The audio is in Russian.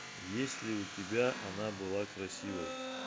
есть ли у тебя она была красивой